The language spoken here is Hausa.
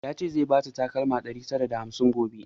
Ya ce zai bata takalma ɗari tara da hamsin gobe